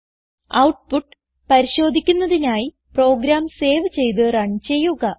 output പരിശോധിക്കുന്നതിനായി program save ചെയ്ത് run ചെയ്യുക